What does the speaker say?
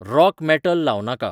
rock metal लाव नाका